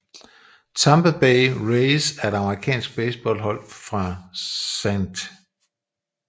Tampa Bay Rays er et amerikansk baseballhold fra St